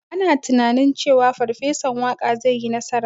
Ana tunanin cewa Farfesan Waƙa zai yi nasara.